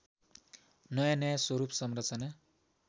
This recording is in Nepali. नयाँनयाँ स्वरूप संरचना